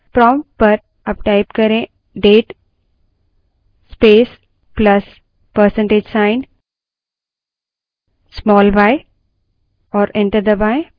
prompt पर date space plus percentage sign small y type करें और enter दबायें